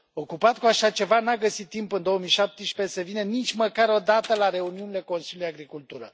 Ocupat cu așa ceva, nu a găsit timp, în 2017, să vină nici măcar o dată la reuniunile Consiliului Agricultură.